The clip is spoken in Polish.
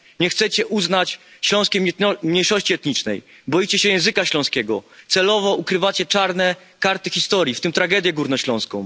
Nie chcecie uznać śląskiej mniejszości etnicznej, boicie się języka śląskiego, celowo ukrywacie czarne karty historii, w tym tragedię górnośląską.